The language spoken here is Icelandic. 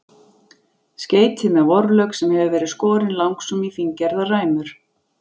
Skreytið með vorlauk sem hefur verið skorinn langsum í fíngerðar ræmur.